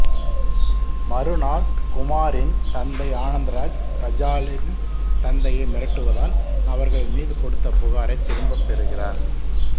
மறுநாள் குமாரின் தந்தை ஆனந்த்ராஜ் காஜலின் தந்தையை மிரட்டுவதால் அவர்கள் மீது கொடுத்த புகாரைத் திரும்பப்பெறுகிறார்